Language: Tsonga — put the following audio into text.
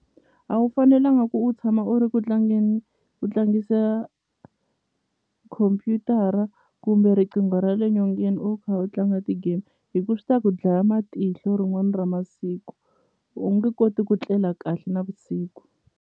A wu fanelanga ku u tshama u ri ku tlangeni u tlangisa khompyutara kumbe riqingho ra le nyongeni u kha u tlanga ti-game hi ku swi ta ku dlaya matihlo rin'wani ra masiku u nge koti ku tlela kahle navusiku.